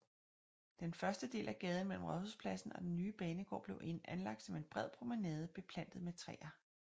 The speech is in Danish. Den første del af gaden mellem Rådhuspladsen og den nye banegård blev anlagt som en bred promenade beplantet med træer